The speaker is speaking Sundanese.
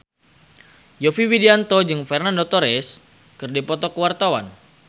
Yovie Widianto jeung Fernando Torres keur dipoto ku wartawan